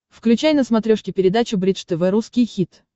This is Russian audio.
включай на смотрешке передачу бридж тв русский хит